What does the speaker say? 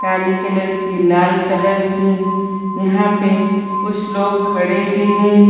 काली colour की लाल colour की यहां पे कुछ लोग खड़े भी हैं।